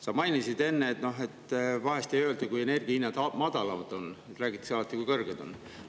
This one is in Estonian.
Sa mainisid enne, et vahest ei öelda, kui energia hinnad madalad on, vaid räägitakse alati, kui kõrged need on.